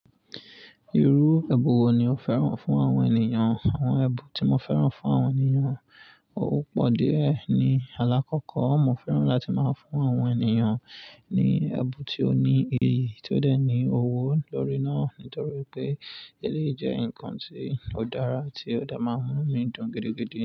Irú ẹbun wo ni o fẹ́ràn fún àwọn ènìyàn? Àwọn ẹbu tí mo fẹ́ràn fún àwọn ènìyàn, ó pọ̀ díẹ̀ ni. Àlàkọ́kọ́, mo fẹ́ràn láti máa ń fún àwọn ènìyàn ní ẹbu tí ó ní iyì tí ó dẹ ní owó lórí náà. Nítorí pé eléyìí jẹ́ nǹkan tí ó dára tí ó dà máa ń inu mi dùn gidi gidi.